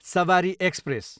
सबारी express